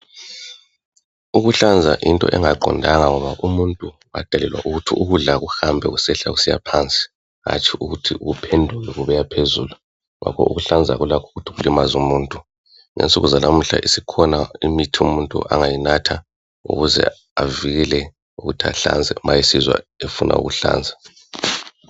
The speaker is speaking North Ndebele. Ukuhlanza yinto engaqondanga ngoba umuntu wadalelwa ukuthi ukudla kuhambe kusehla kusiya phansi hantshi ukuthi kuphenduke kubuya phezulu ngoba ukuhlanza kulakho ukuthi kulimaze umuntu. Ngensuku zanamuhla isikhona imithi umuntu angayinatha ukuze bavikele ukuhlanza ma esizwa efuna ukuhlanza